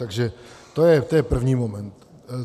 Takže to je první moment.